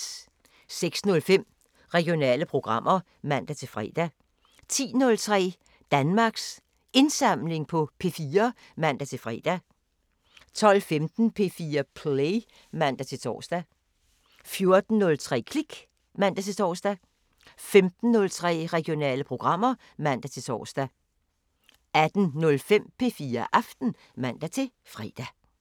06:05: Regionale programmer (man-fre) 10:03: Danmarks Indsamling på P4 (man-fre) 12:15: P4 Play (man-tor) 14:03: Klik (man-tor) 15:03: Regionale programmer (man-tor) 18:05: P4 Aften (man-fre)